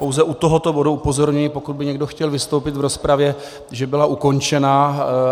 Pouze u tohoto bodu upozorňuji, pokud by někdo chtěl vystoupit v rozpravě, že byla ukončena.